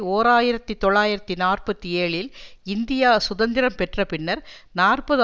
ஓர் ஆயிரத்தி தொள்ளாயிரத்து நாற்பத்தி ஏழில் இந்தியா சுதந்திரம் பெற்ற பின்னர் நாற்பது